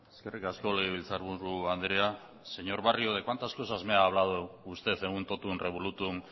eskerrik asko legebiltzarburu andrea señor barrio de cuántas cosas me ha hablado usted en un totum revolutum